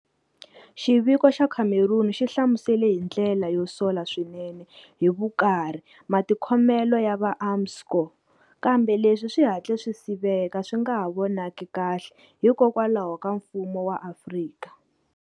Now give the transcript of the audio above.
Xiviko xa Cameron xi hlamusele hi ndlela yo sola swinene hi"vukarhi" matikhomelo ya va Armscor, kambe leswi swi hatle swi siveka swi nga ha vonaki kahle hikolwakho ka mfumo wa Afrika.